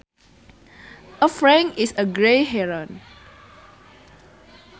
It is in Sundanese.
A frank is a grey heron